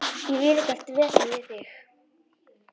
Ég vil ekkert vesen við þig.